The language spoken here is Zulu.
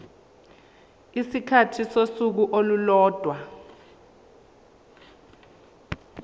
isikhathi sosuku olulodwa